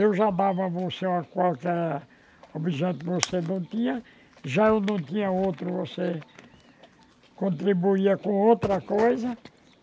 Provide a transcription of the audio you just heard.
Eu já dava a você qualquer objeto que você não tinha, já eu não tinha outro, você contribuía com outra coisa.